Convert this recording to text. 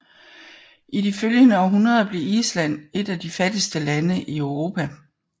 I de følgende århundreder blev Island et af de fattigste lande i Europa